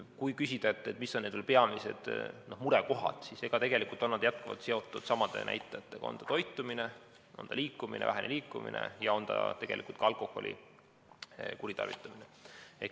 Kui küsida, mis on need peamised murekohad, siis on need jätkuvalt seotud samade näitajatega: vale toitumine, vähene liikumine ja tegelikult ka alkoholi kuritarvitamine.